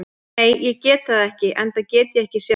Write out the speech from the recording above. Nei, ég get það ekki enda get ég ekki séð það.